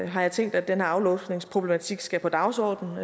har jeg tænkt at denne aflåsningsproblematik skal på dagsordenen